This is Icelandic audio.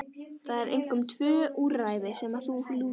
Það eru einkum tvö úrræði sem að þessu lúta.